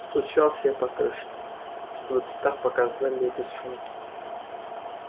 стучал себе по крышке чтобы в цветах показали и без шума